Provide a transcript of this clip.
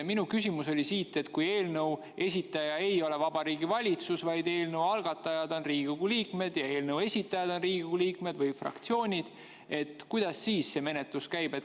" Minu küsimus oli, et kui eelnõu esitaja ei ole Vabariigi Valitsus, vaid eelnõu algatajad on Riigikogu liikmed ja eelnõu esitajad on Riigikogu liikmed või fraktsioonid, kuidas siis see menetlus käib.